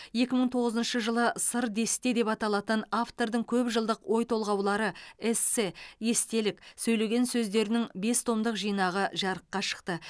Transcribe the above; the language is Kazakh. екі мың тоғызыншы жылы сыр десте деп аталатын автордың көп жылдық ой толғаулары эссе естелік сөйлеген сөздерінің бес томдық жинағы жарыққа шықты